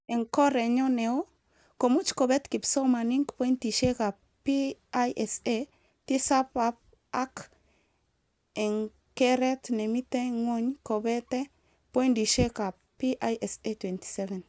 Eng kerenyo neo, komuch kobet kipsomanink pointishekab PISA tisab ak eng keret nemite ngwony kobet poindishekab PISA 27